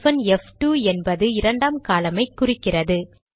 hyphen எஃப்2 என்பது இரண்டாம் காலம் ஐ குறிக்கிறது